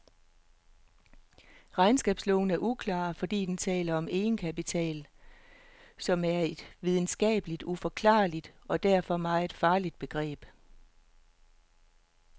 Regnskabsloven er uklar, fordi den taler om egenkapital, som er et videnskabeligt uforklarligt og derfor meget farligt begreb.